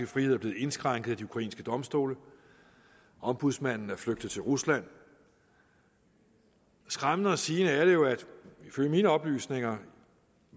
frihed er blevet indskrænket af de ukrainske domstole ombudsmanden er flygtet til rusland skræmmende at sige er det jo at ifølge mine oplysninger